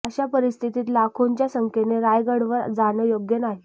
अशा परिस्थितीत लाखोंच्या संख्येने रायगडवर जाणं योग्य नाही